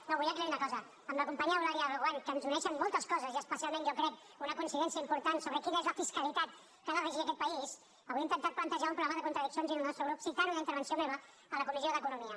no vull aclarir una cosa amb la companya eulàlia reguant que ens uneixen moltes coses i especialment jo crec una coincidència important sobre quina és la fiscalitat que ha de regir aquest país avui ha intentat plantejar un problema de contradiccions en el nostre grup citant una intervenció meva a la comissió d’economia